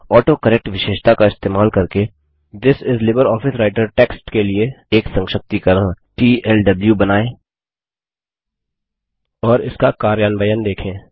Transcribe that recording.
autocorrect विशेषता का इस्तेमाल करके थिस इस लिब्रियोफिस राइटर टेक्स्ट के लिए एक संक्षिप्तीकरण तल्व बनायें और इसका कार्यान्वयन देखें